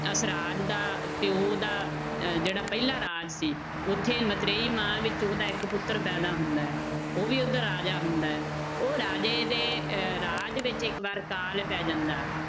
ਅਸਰਾਜ ਦਾ ਪਿਓ ਦਾ ਅਹ ਜਿਹੜਾ ਪਹਿਲਾ ਰਾਜ ਸੀ ਉੱਥੇ ਮਤਰੇਈ ਮਾਂ ਵਿੱਚ ਉਹਦਾ ਇੱਕ ਪੁੱਤਰ ਪੈਦਾ ਹੁੰਦਾ ਹੈ, ਉਹ ਵੀ ਰਾਜਾ ਹੁੰਦਾ ਹੈ ਉਹ ਰਾਜੇ ਦੇ ਅਹ ਰਾਜ ਵਿੱਚ ਇੱਕ ਵਾਰ ਅਕਾਲ ਪੈ ਜਾਂਦਾ